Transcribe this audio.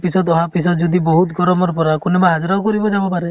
পিছত, আহা পিছত যদি বহুত গৰম পৰা, কোনোবা হাজিৰাও কৰিবও যাব পাৰে ।